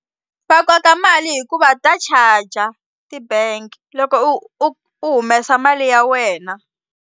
Va koka mali hikuva ta charger ti-bank loko u u u humesa mali ya wena.